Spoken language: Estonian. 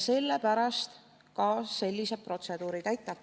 Sellepärast ka sellised protseduurid.